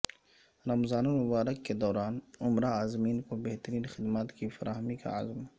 رمضان المبارک کے دوران عمرہ عازمین کو بہترین خدمات کی فراہمی کا عزم